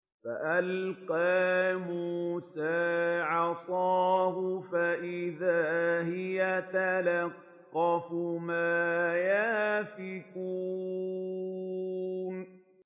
فَأَلْقَىٰ مُوسَىٰ عَصَاهُ فَإِذَا هِيَ تَلْقَفُ مَا يَأْفِكُونَ